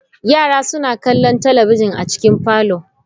Yara suna kallon talabijin a cikin Parlour.